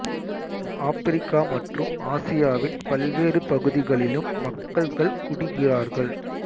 Africa மற்றும் ஆசியாவின் பல்வேறு பகுதிகளிலும் மக்கள் கள் குடிக்கிறார்கள்